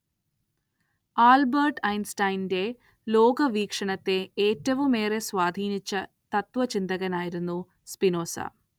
Albert ഐൻസ്റ്റൈന്റെ ലോകവീക്ഷണത്തെ ഏറ്റവുമേറെ സ്വാധീനിച്ച തത്ത്വചിന്തകനായിരുന്നു സ്പിനോസ.